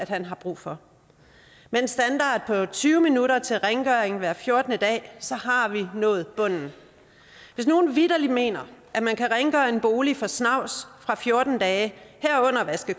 han har brug for med en standard på tyve minutter til rengøring hver fjortende dag har vi nået bunden hvis nogen vitterlig mener at man kan rengøre en bolig for snavs fra fjorten dage herunder vaske